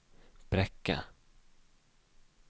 Brekke